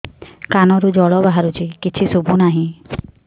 କାନରୁ ଜଳ ବାହାରୁଛି କିଛି ଶୁଭୁ ନାହିଁ